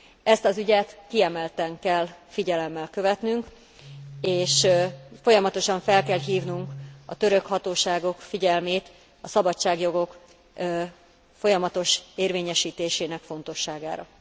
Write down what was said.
Ezt az ügyet kiemelten kell figyelemmel követnünk, és folyamatosan fel kell hívnunk a török hatóságok figyelmét a szabadságjogok folyamatos érvényesítésének fontosságára.